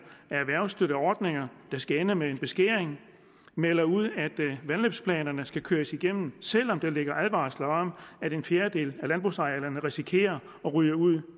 af erhvervsstøtteordninger der skal ende med en beskæring man melder ud at vandløbsplanerne skal køres igennem selv om der ligger advarsler om at en fjerdedel af landbrugsarealerne risikerer at ryge ud